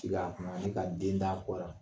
Tika a kun ma se ka den d'a kɔ la.